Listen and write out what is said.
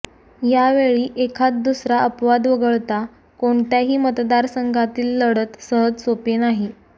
या वेळी एखाद् दुसरा अपवाद वगळता कोणत्याही मतदारसंघातील लढत सहज सोपी नाही